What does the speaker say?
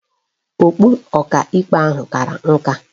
Okpu Ọkaikpe ahụ kara nka